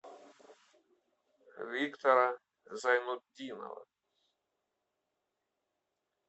виктора зайнутдинова